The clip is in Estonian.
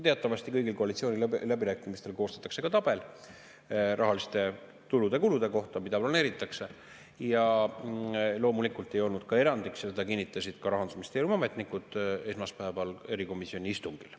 Teatavasti kõigil koalitsiooniläbirääkimistel koostatakse tabel rahaliste tulude ja kulude kohta, mida planeeritakse, ja loomulikult ei olnud ka see kord erandiks, seda kinnitasid Rahandusministeeriumi ametnikud esmaspäeval erikomisjoni istungil.